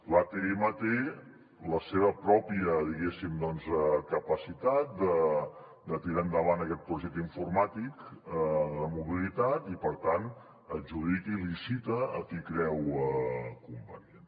l’atm té la seva pròpia diguéssim capacitat de tirar endavant aquest projecte informàtic de mobilitat i per tant adjudica i licita a qui creu convenient